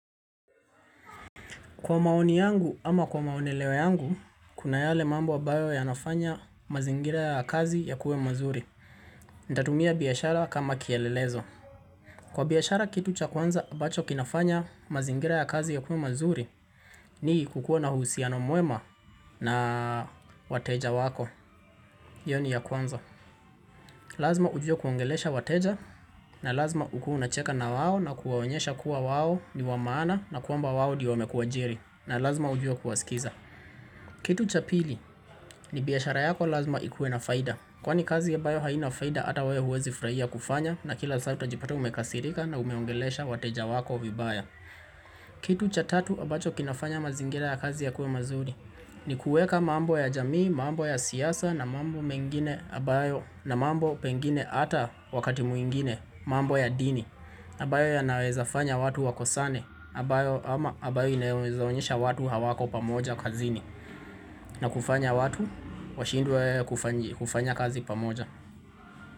Kwa maoni yangu ama kwa maoneleo yangu, kuna yale mambo ambayo yanafanya mazingira ya kazi yakuwe mazuri. Nitatumia biashara kama kielelezo. Kwa biashara kitu cha kwanza, ambacho kinafanya mazingira ya kazi yakuwe mazuri, ni kukuwa na uhusiano mwema na wateja wako. Iyo ni ya kwanza. Lazima ujuwe kuongelesha wateja, na lazima ukuwe unacheka na wao na kuwaonyesha kuwa wao ni wa maana na kwamba wao ndio wamekuajiri. Na lazima ujuwe kuwasikiza. Kitu cha pili, ni biashara yako lazima ikuwe na faida. Kwani kazi ya ambayo haina faida ata wewe huwezi furahia kufanya na kila saa utajipata umekasirika na umeongelesha wateja wako vibaya. Kitu cha tatu ambacho kinafanya mazingira ya kazi yakuwe mazuri. Ni kuweka mambo ya jamii, mambo ya siasa na mambo mengine ambayo na mambo pengine ata wakati mwingine, mambo ya dini. Ambayo yanaweza fanya watu wakosane, ama ambayo inawezaonyesha watu hawako pamoja kazini. Na kufanya watu, washindwe kufanya kazi pamoja.